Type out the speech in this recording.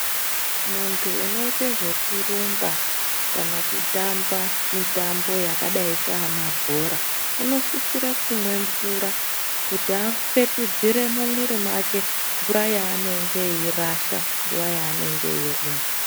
Muntu unoite zvekurumba kana kutamba mutambo yakadai sana bhora unosisire kumwa mvura kuti apetudzire mumwiri make mvura yaanenge eirasha nguwa yaanenge eirumba.